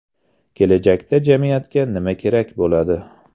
Kelajakda jamiyatga nima kerak bo‘ladi?